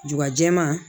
Juba jɛman